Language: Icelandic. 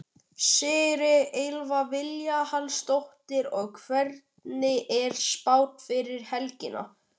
Sigríður Elva Vilhjálmsdóttir: Og hvernig er spáin fyrir helgina?